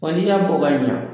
Ɔn ni ya bɔ ka ɲina